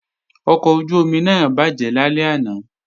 Ọkọ̀ ojú-omi náà bàjẹ́ lálẹ́ àná